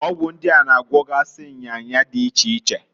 Ọgwụ ndia na- agwogasị nya nya di iche iche.